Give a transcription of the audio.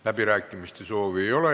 Läbirääkimiste soovi ei ole.